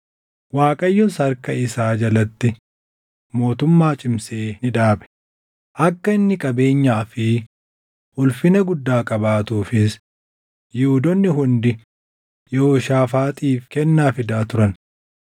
Waaqayyos harka isaa jalatti mootummaa cimsee ni dhaabe; akka inni qabeenyaa fi ulfina guddaa qabaatuufis Yihuudoonni hundi Yehooshaafaaxiif kennaa fidaa turan.